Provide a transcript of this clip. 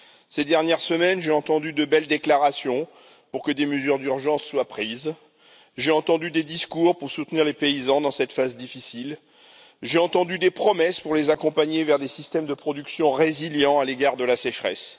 Ces dernières semaines, j'ai entendu de belles déclarations pour que des mesures d'urgence soient prises, j'ai entendu des discours pour soutenir les paysans dans cette phase difficile, j'ai entendu des promesses pour les accompagner vers des systèmes de production résilients à l'égard de la sécheresse.